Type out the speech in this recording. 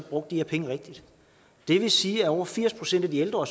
brugt de her penge rigtigt det vil sige at over firs procent af de ældre